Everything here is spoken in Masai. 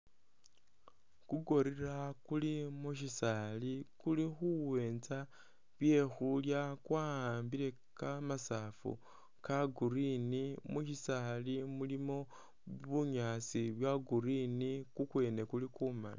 Ku gorilla kuli mu shisaali kuli khuwenza byekhulya kwa'ambile kamasafu ka green, musisaali mulimo bunyaasi bwa green, kukwene kuli ku mali.